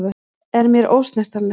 Er mér ósnertanleg.